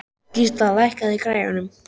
Gísla, lækkaðu í græjunum.